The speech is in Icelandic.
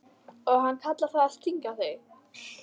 Og hann kallar það að stinga í.